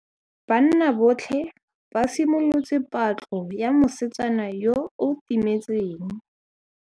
Banna botlhê ba simolotse patlô ya mosetsana yo o timetseng.